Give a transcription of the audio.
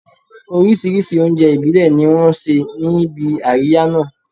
Oríṣìíríṣìí oúnjẹ ìbílẹ̀ ni wọ́n ṣe níbi àríyá náà